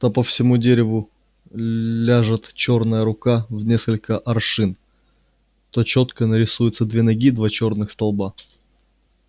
то по всему дереву ляжет чёрная рука в несколько аршин то чётко нарисуются две ноги два черных столба